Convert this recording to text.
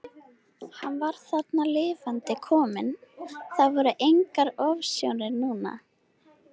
Hann var þarna lifandi kominn, það voru engar ofsjónir núna!